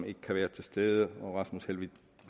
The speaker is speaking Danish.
ikke være til stede og herre rasmus helveg